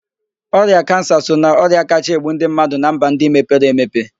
Ọrịa kansa so na ọrịa kachaa egbu ndị mmadụ na mba ndị mepere emepe